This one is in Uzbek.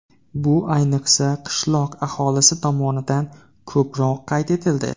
Bu ayniqsa qishloq aholisi tomonidan ko‘proq qayd etildi.